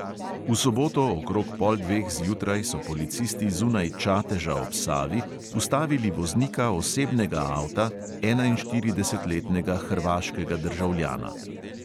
V soboto okrog pol dveh zjutraj so policisti zunaj čateža ob savi ustavili voznika osebnega avta, enainštiridesetletnega hrvaškega državljana.